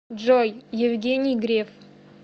джой евгений греф